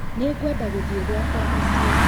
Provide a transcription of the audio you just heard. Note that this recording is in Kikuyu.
Nĩ ngwenda gũthiĩ gwakwa mũciĩ